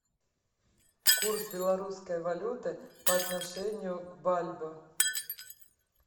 курс белорусской валюты по отношению к бальбоа